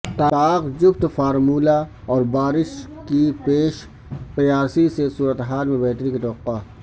طاق جفت فارمولا اور بارش کی پیش قیاسی سے صورتحال میں بہتری کی توقع